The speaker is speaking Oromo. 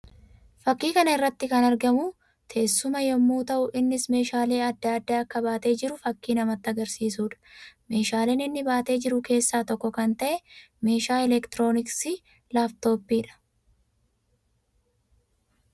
Fakkii kana irratti kan argamu teessuma yammuu tahu; innis meeshaalee addaa addaa akka baatee jiru fakkii namatti agarsiisuu dha. Meeshaalee inni baatee jiru keessa tokko kan ta'e meeshaa elektirooniksii laaftoppii dha.